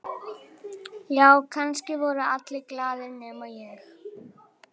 Já, kannski voru allir glaðir nema ég.